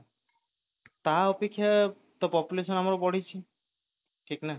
ତା ଅପକ୍ଷ ତ population ଆମର ବଢିଛି ଠିକ ନା ନାହିଁ